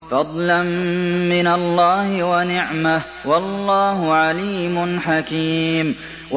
فَضْلًا مِّنَ اللَّهِ وَنِعْمَةً ۚ وَاللَّهُ عَلِيمٌ حَكِيمٌ